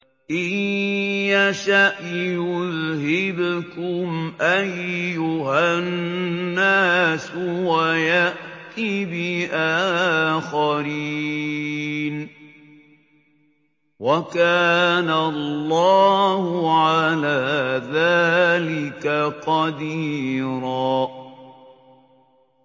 إِن يَشَأْ يُذْهِبْكُمْ أَيُّهَا النَّاسُ وَيَأْتِ بِآخَرِينَ ۚ وَكَانَ اللَّهُ عَلَىٰ ذَٰلِكَ قَدِيرًا